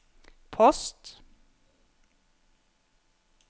post